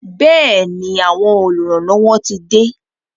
Bẹẹni, àwọn oluranlowo tí de